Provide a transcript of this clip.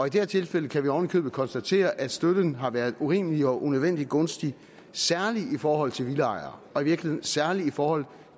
i det her tilfælde kan vi oven i købet konstatere at støtten har været urimelig og unødvendig gunstig særlig i forhold til villaejere og i virkeligheden særlig i forhold